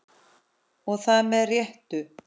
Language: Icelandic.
Og það með réttu.